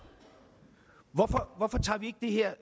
hvorfor tager vi ikke det her